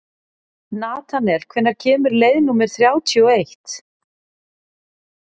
Natanael, hvenær kemur leið númer þrjátíu og eitt?